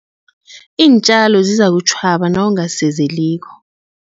Iintjalo zizakutjhwaba nawungazisezeliko.